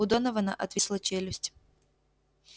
у донована отвисла челюсть